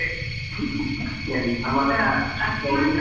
ಎಂತ .